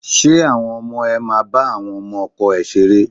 Ṣé àwọn ọmọ ẹ máa ba àwọn ọmọ ọkọ ẹ ṣeré?